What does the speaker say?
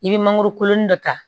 I bɛ mangoro kolon dɔ ta